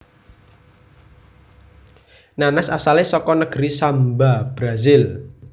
Nanas asalé saka negeri Samba Brasil